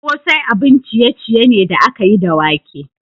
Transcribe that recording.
Kosai abun ciye-ciye ne da aka yi da wake.